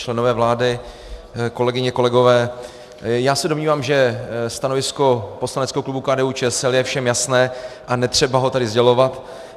Členové vlády, kolegyně, kolegové, já se domnívám, že stanovisko poslaneckého klubu KDU-ČSL je všem jasné a netřeba ho tady sdělovat.